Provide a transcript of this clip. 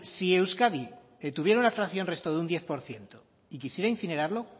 si euskadi tuviera una fracción resto de un diez por ciento y quisiera incinerarlo